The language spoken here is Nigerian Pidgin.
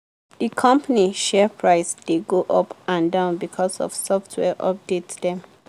the company share price dey go up and down because of software update dem